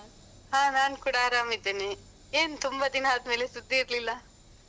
ಹಾ ನಾನ್ಕೂಡ ಆರಾಮಿದ್ದೇನೆ, ಏನ್ ತುಂಬ ದಿನ ಆದ್ಮೇಲೆ ಸುದ್ದಿ ಇರ್ಲಿಲ್ಲ.